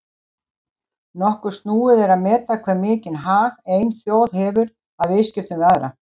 Nokkuð snúið er að meta hve mikinn hag ein þjóð hefur af viðskiptum við aðra.